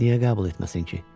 Niyə qəbul etməsin ki?